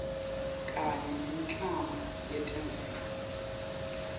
kanye nemiklamo yetemvelo